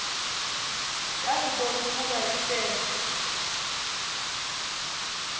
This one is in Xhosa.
yakubon ukuba isel